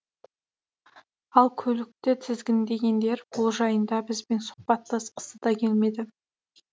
ал көлікті тізгіндегендер бұл жайында бізбен сұхбаттасқысы да келмеді